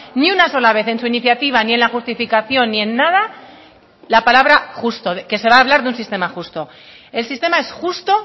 ni una sola vez en su iniciativa ni en la justificación ni en nada la palabra justo que se va a hablar de un sistema justo el sistema es justo